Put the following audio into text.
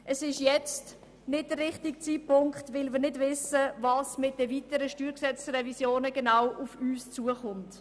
– Es ist jetzt nicht der richtige Zeitpunkt, weil wir nicht wissen, was mit den weiteren StG-Revisionen konkret auf uns zukommt.